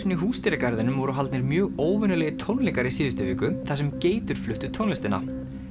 í Húsdýragarðinum voru haldnir mjög óvenjulegir tónleikar í síðustu viku þar sem geitur fluttu tónlistina